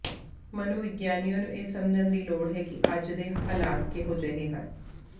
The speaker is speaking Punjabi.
ਮਨੋਵਿਗਿਆਨੀਆਂ ਨੂੰ ਇਹ ਸਮਝਣ ਦੀ ਲੋੜ ਹੈ ਕਿ ਅੱਜ ਦੇ ਹਾਲਾਤ ਕਿਹੋ ਜਿਹੇ ਹਨ